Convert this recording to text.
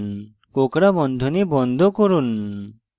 কোঁকড়া বন্ধনী বন্ধ করুন